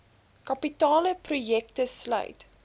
kapitale projekte sluit